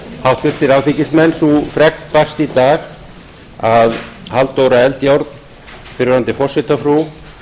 háttvirtir alþingismenn sú fregn barst í dag að halldóra eldjárn fyrrverandi forsetafrú